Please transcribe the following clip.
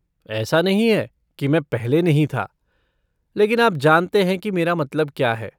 ऐसा नहीं है कि मैं पहले नहीं था, लेकिन आप जानते हैं कि मेरा क्या मतलब है।